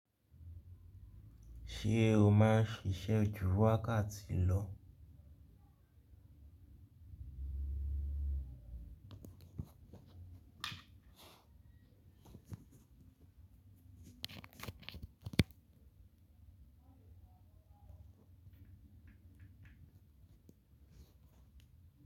Ṣé o máa ṣiṣẹ́ jú wákàtí lọ?